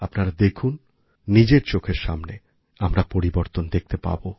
আপনারা দেখুন নিজের চোখের সামনে আমরা পরিবর্তন দেখতে পাব